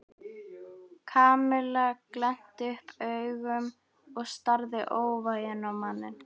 Kamilla glennti upp augun og starði óvægin á manninn.